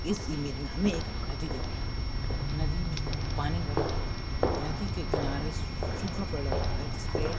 इस इमेज में हमें एक नदी दिखाई दे रही है नदी में पानी भरा हुआ है नदी के किनारे सु-सुखा पडा हुआ है जिसपे--